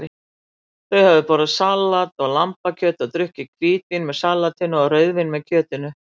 Þau höfðu borðað salat og lambakjöt og drukkið hvítvín með salatinu og rauðvín með kjötinu.